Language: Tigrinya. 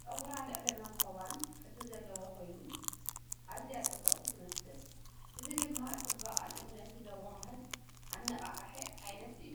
ጸጉራ ልዑል መንኵባን ቅዲ ዘለዎን ኮይኑ፡ ኣዝያ ጽብቕቲ ትመስል። እዚ ድማ ጽባቐን እምነትን ዘወሃህድ ኣነቓቓሒ ዓይነት እዩ።